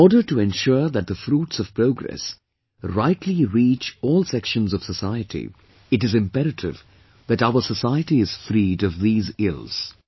In order to ensure that the fruits of progress rightly reach all sections of society, it is imperative that our society is freed of these ills